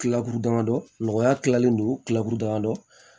Tila damadɔkɔya kilalen don kilaburu damadɔ